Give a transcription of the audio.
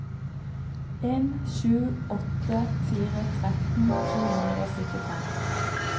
en sju åtte fire tretten to hundre og syttifem